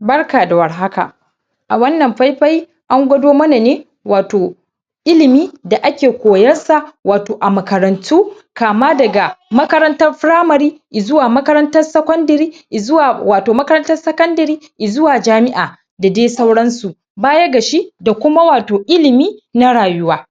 Barka da war haka a wannan pai-pai an gwado mana ne wato ilimi da ake koyar sa wato a makarantu kama daga makarantar firamari, izuwa makarantar sakondiri, izuwa wato makarantar sakondiri izuwa jami'a da dai sauransu. Baya ga shi da kuma wato ilimi, na rayuwa.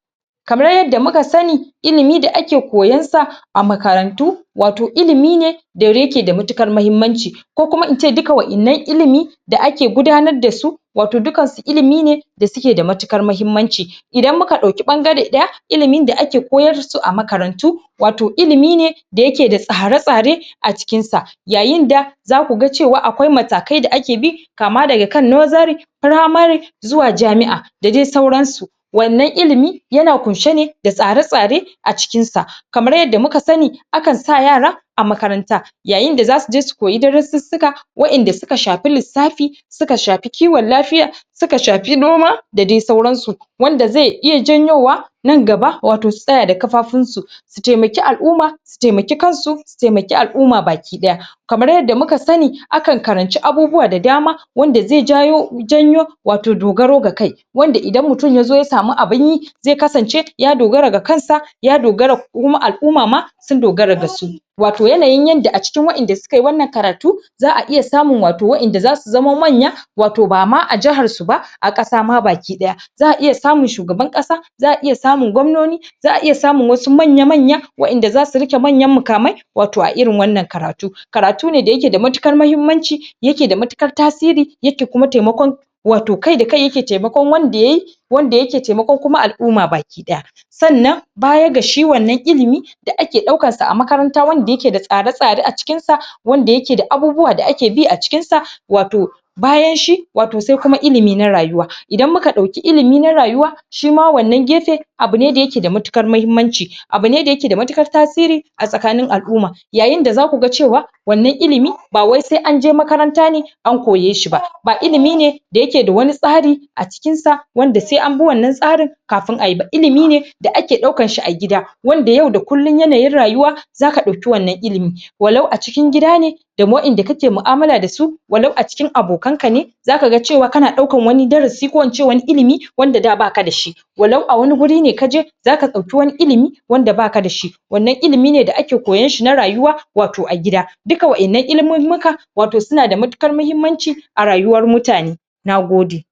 Kamar yadda muka sani ilimi da ake koyan sa a makarantu, wato ilimi ne da yake da matuƙar mahimmanci ko kuma ince duka wa'innan ilimi da ake gudanar da su wato dukansu ilimi ne da suke da matuƙar mahimmanci Idan muka ɗauki ɓangare ɗaya ilimin da ake koyar su a makarantu wato ilimi ne da yake da tsare-tsare a cikin sa. Yayinda zaku ga cewa akwai matakai da ake bi kama daga kan nozari, firamari, zuwa jami'a da dai sauransu. Wannan ilimi yana kunsha ne da tsare-tsare a cikin sa. Kamar yadda muka sani akan sa yara a makaranta. Yayinda za suje su koyi darussussuka wa'inda suka shapi lissafi, suka shapi kiwon lafiya, suka shapi noma da dai sauransu. Wanda zai iya janyowa nan gaba wato su tsaya da kafafun su su taimaki al'umma su taimaki kansu su taimak ial'umma baki ɗaya Kamar yadda muka sani akan karanci abubuwa da dama wanda ze jayo janyo wato dogaro ga kai. Wanda idan mutum yazo ya samu abinyi ze kasance ya dogara ga kansa ya dogara kuma al'uma ma sun dogara ga su. Wato yanayin yanda a cikin wa'inda sukayi wannan karatu za'a iya samun wato wa'inda zasu zamo manya wato bama a jihar su ba, a ƙasa ma baki ɗaya. Za'a iya samun shugaban ƙasa za'a iya samun gwamnoni za'a iya samun wasu manya-manya wa'inda zasu rike manyan mukamai wato a irin wannan karatu. Karatu ne da yake da matuƙar mahimmanci yake da matuƙar tasiri yake kuma taimakon wato kai da kai yake taimakon wanda yayi wanda yake taimakon kuma al'umma baki ɗaya. Sannan baya ga shi wannan ilimi da ake ɗaukansa a makaranta wanda yake da tsada-tsada a cikinsa, wanda yake da abubuwa da ake bi a cikinsa, wato bayan shi wato se kuma ilimi na rayuwa idan muka ɗauki ilimi na rayuwa shima wannan gefe abu ne da yake da matuƙar mahimmanci, abu ne da yake da matuƙar tasiri a tsakanin al'umma. Yayinda za kuga cewa wannan ilimi ba wai se anje makaranta ne an koyeshi ba. Ba ilimi ne da yake da wani tsari a cikin sa wanda se an bi wannan tsarin kafin a yi ba ilimi ne da ake ɗaukanshi a gida. Wanda yau da kullum yana yin rayuwa zaka dauki wannan ilimi walau a cikin gida ne, da wa'inda kake mu'amala da su walau a cikin abokan ka ne zaka ga cewa kana ɗaukan wani darasi ko ince wani ilimi wanda da bakada shi walau a wani guri ne ka je zaka ɗauki wani ilimi wanda bakada shi. Wannan ilimi ne da ake koyanshi na rayuwa wato a gida duka wa'innan ilimimmika wato suna da matuƙar mahimmanci a rayuwar mutane, nagode.